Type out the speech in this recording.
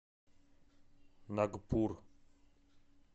нагпур